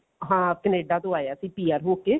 ਹਾਂ ਕਨੇਡਾ ਤੋਂ ਆਇਆ ਸੀ PR ਹੋਕੇ